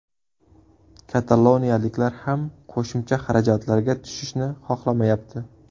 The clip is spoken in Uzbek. Kataloniyaliklar ham qo‘shimcha xarajatlarga tushishni xohlamayapti.